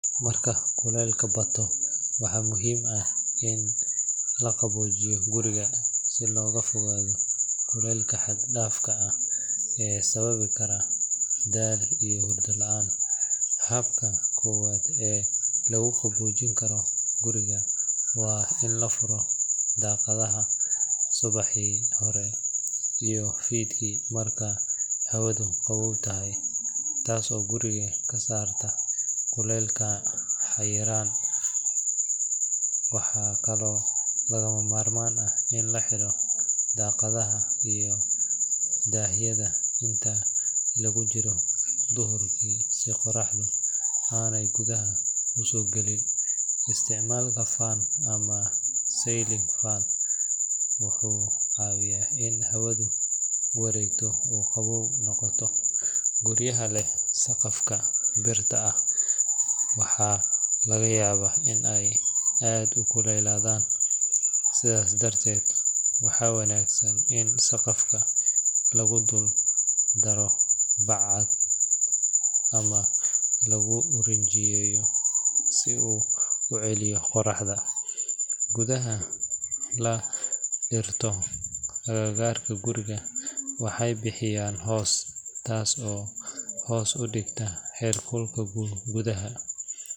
Marka kuleylka batto, waxaa muhiim ah in la qaboojiyo guriga si looga fogaado kulaylka xad dhaafka ah ee sababi kara daal iyo hurdo la'aan. Habka koowaad ee lagu qaboojin karo guriga waa in la furo daaqadaha subaxii hore iyo fiidkii marka hawadu qabow tahay, taas oo guriga ka saarta kulaylka xayiran. Waxaa kaloo lagama maarmaan ah in la xidho daaqadaha iyo daahyada inta lagu jiro duhurkii si qorraxda aanay gudaha u soo galin. Isticmaalka fan ama ceiling fan wuxuu caawiyaa in hawadu wareegto oo qabow noqoto. Guryaha leh saqafka birta ah waxaa laga yaabaa in ay aad u kululaadaan, sidaas darteed waxaa wanaagsan in saqafka lagu dul daro bac cad ama lagu rinjiyeeyo si uu u celiyo qorraxda. Geedaha la dhirto agagaarka guriga waxay bixiyaan hoos, taas oo hoos u dhigta heerkulka gudaha.